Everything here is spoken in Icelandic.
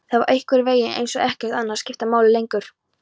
Það var einhvernveginn eins og ekkert annað skipti máli lengur.